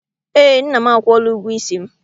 Ee, nna m akwụọla ụgwọ isi m.